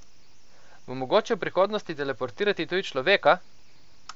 Bo mogoče v prihodnosti teleportirati tudi človeka?